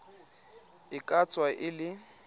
e ka tswa e le